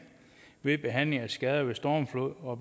ved behandlingen af skader ved stormflod og